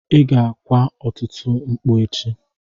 Ị ga-kwa ọtụtụ mkpu echi.